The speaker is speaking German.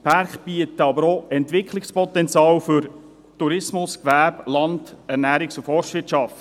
Die Werke bieten aber auch Entwicklungspotenzial für Tourismus, Gewerbe, Land, Ernährungs- und Forstwirtschaft.